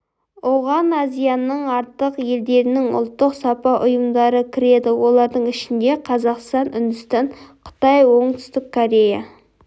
оған азияның артық елдерінің ұлттық сапа ұйымдары кіреді олардың ішінде қазақстан үндістан қытай оңтүстік корея